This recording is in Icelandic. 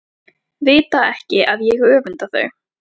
Vita ekki að ég öfunda þau.